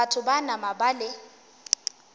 batho ba nama ba le